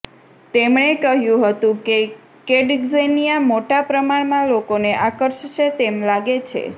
તેમણે કહ્યું હતું કે કિડઝેનિયા મોટા પ્રમાણમાં લોકોને આકર્ષશે તેમ લાગે છે